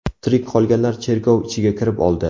Tirik qolganlar cherkov ichiga kirib oldi.